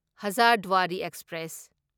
Hazarduari express